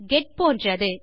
get போன்றது